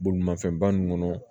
Bolimafɛnba ninnu kɔnɔ